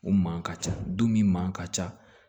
O man ka ca dumuni man ka ca